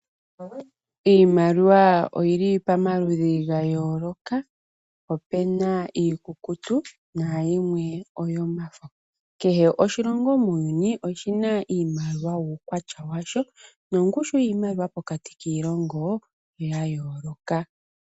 Iimaliwa oyili pamaludhi gaayoloka, opena iikukutu naayimwe oyomafo. Kehe oshilongo muuyuni oshina iimaliwa wuukwatya washo, nongushu wiimaliwa pokati kiilongoo oyayooloka.